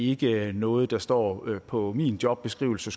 ikke noget der står på min jobbeskrivelse